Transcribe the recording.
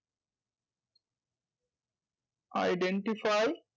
Identify